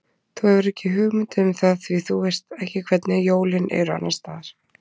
Þú hefur ekki hugmynd um það því þú veist ekki hvernig jólin eru annars staðar